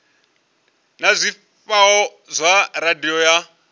na zwifhao zwa radio ya